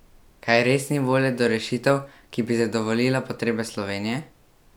Kaj res ni volje do rešitev, ki bi zadovoljila potrebe Slovenije?